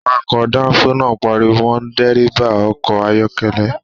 Àwàkọ̀ danfo náà páríwó mọ dírẹ́bà ọkọ̀ ayọkẹlẹ.